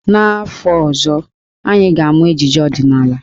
N'afọ ọzọ, anyị ga-amụ ejije ọdịnaala.